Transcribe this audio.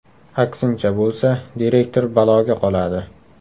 Aksincha bo‘lsa direktor baloga qoladi.